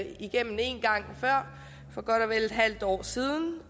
igennem en gang før for godt og vel et halvt år siden